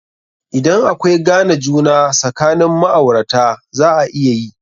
Idan akwai gane juna sakanin ma'aurata, za a iya yi.